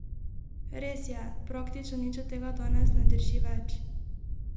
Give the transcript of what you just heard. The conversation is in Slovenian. Res je, praktično nič od tega danes ne drži več!